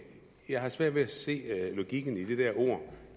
jeg har svært ved at se logikken i de der ord